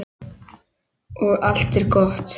Og allt er gott.